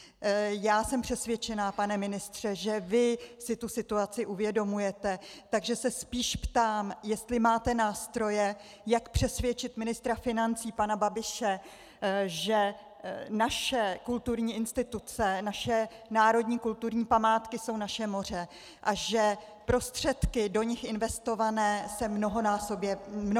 Já jsem přesvědčena, pane ministře, že vy si tu situaci uvědomujete, takže se spíš ptám, jestli máte nástroje, jak přesvědčit ministra financí pana Babiše, že naše kulturní instituce, naše národní kulturní památky jsou naše moře a že prostředky do nich investované se mnohonásobně vrátí.